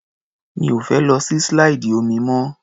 Mi ò fẹ́ lọ sí slide omi mọ́.